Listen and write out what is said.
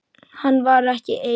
Hann var ekki einn.